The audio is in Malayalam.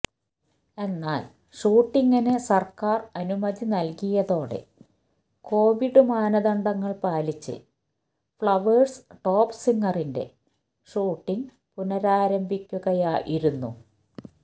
എന്നാൽ ഷൂട്ടിംഗിന് സർക്കാർ അനുമതി നൽകിയതോടെ കൊവിഡ് മാനദണ്ഡങ്ങൾ പാലിച്ച് ഫഌവേഴ്സ് ടോപ്പ് സിംഗറിന്റെ ഷൂട്ടിംഗ് പുനരാരംഭിക്കുകയായിരുന്നു